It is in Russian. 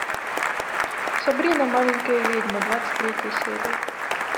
сабрина маленькая ведьма двадцать третья серия